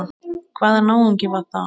Hvaða náungi var það?